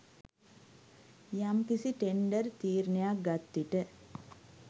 යම්කිසි ටෙන්ඩර් තීරණයක් ගත්විට